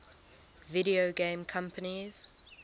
video game companies